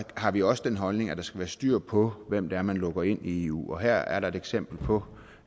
har vi også den holdning at der skal være styr på hvem det er man lukker ind i eu og her er der et eksempel på